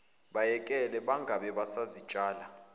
bayekele bangabe basazitshala